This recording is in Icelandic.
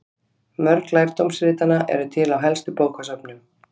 Mörg lærdómsritanna eru til á helstu bókasöfnum.